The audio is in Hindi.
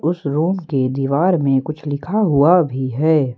उस रूम के दीवार में कुछ लिखा हुआ भी है।